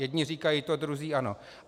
Jedni říkají to, druzí ono.